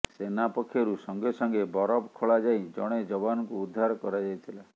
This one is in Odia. ସେନା ପକ୍ଷରୁ ସଙ୍ଗେ ସଙ୍ଗେ ବରଫ ଖୋଳା ଯାଇ ଜଣେ ଯବାନଙ୍କୁ ଉଦ୍ଧାର କରାଯାଇଥିଲା